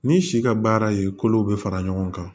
Ni si ka baara ye kolo bɛ fara ɲɔgɔn kan